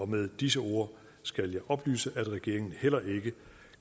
med disse ord skal jeg oplyse at regeringen heller ikke